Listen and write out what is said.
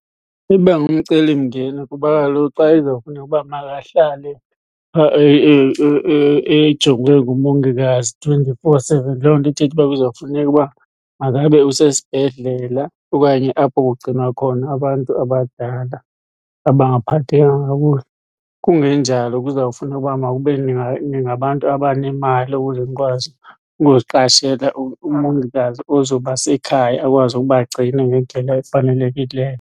Iba ngumcelimngeni kuba kaloku xa izawufuna uba makahlale phaa ejongwe ngumongikazi twenty-four seven, loo nto ithetha uba kuzawufuneka uba makabe usesibhedlela okanye apho kugcinwa khona abantu abadala abangaphathekanga kakuhle. Kungenjalo kuzawufuna uba mawube ningabantu abanemali ukuze nikwazi ukuziqashela umongikazi ozoba sekhaya akwazi ukubagcina ngendlela efanelekileyo.